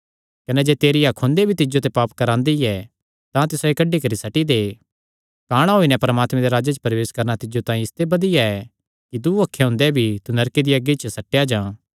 कने जे तेरी अख हुंदे भी तिज्जो ते पाप करवांदी ऐ तां तिसायो कड्डी करी सट्टी दे काणा होई नैं परमात्मे दे राज्जे च प्रवेश करणा तिज्जो तांई इसते बधिया ऐ कि दूँ अखीं हुंदेया भी तू नरके दिया अग्गी च सट्टेया जां